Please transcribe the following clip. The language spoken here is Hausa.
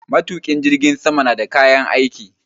Matukin jirgin sama na da kayan aiki.